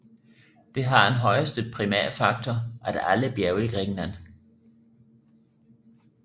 Det har den højeste primærfaktor af alle bjerge i Grækenland